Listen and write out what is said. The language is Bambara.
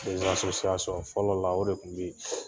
kɛsasosiyasɔn Fɔlɔ la o de kun be yen